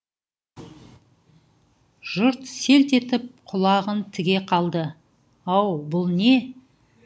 жұрт селт етіп құлағын тіге қалды ау бұл не